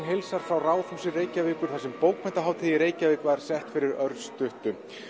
heilsar frá Ráðhúsi Reykjavíkur þar sem bókmenntahátíð í Reykjavík var sett fyrir örstuttu